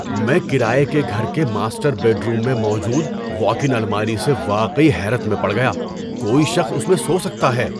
میں کرایہ کے گھر کے ماسٹر بیڈروم میں موجود واک اِن الماری سے واقعی حیرت میں پڑ گیا، کوئی شخص اس میں سو سکتا ہے۔